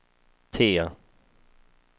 T